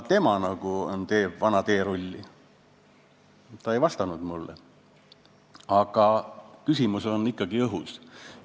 Ta ei vastanud mulle, aga küsimus on ikkagi õhus.